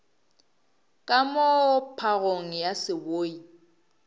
ka moo phagong ya seboi